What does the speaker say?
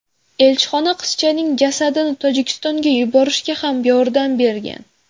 Elchixona qizchaning jasadini Tojikistonga yuborishga ham yordam bergan.